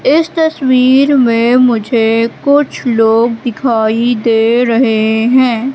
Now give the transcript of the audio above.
इस तस्वीर में मुझे कुछ लोग दिखाई दे रहे हैं।